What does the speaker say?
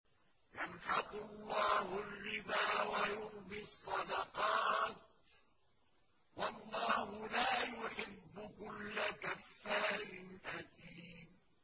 يَمْحَقُ اللَّهُ الرِّبَا وَيُرْبِي الصَّدَقَاتِ ۗ وَاللَّهُ لَا يُحِبُّ كُلَّ كَفَّارٍ أَثِيمٍ